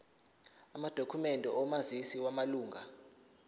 amadokhumende omazisi wamalunga